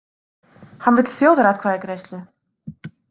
Hann vill þjóðaratkvæðagreiðslu